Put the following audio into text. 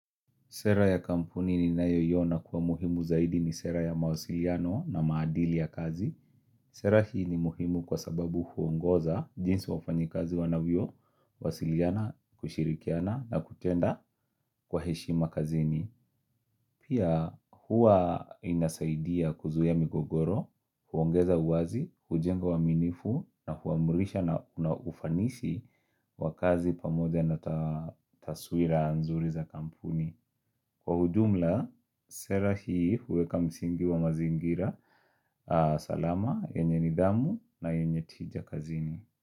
Sera ya kampuni ninayoiona kuwa muhimu zaidi ni sera ya mawasiliano na maadili ya kazi. Sera hii ni muhimu kwa sababu huongoza jinsi wafanyakazi wanavyo, wasiliana, kushirikiana na kutenda kwa heshima kazini. Pia huwa inasaidia kuzuia migogoro, huongeza uwazi, hujenga uaminifu na huamurisha na unaufanisi wakazi pamoja na tasuira nzuri za kampuni. Kwa ujumla, sera hii huweka msingi wa mazingira. Salama, yenye nidhamu na yenye tija kazini.